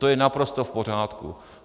To je naprosto v pořádku.